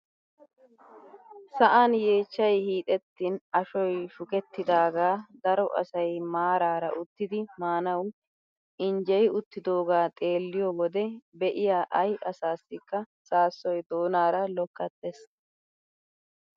Sa'an yeechchay hiixettin ashshoy shukettidagaa daro asay maarara uttidi maanawu injjeyi uttidoogaa xeelliyoo wode be'iyaa ayi asasikka saassoy doonaara lokkattees!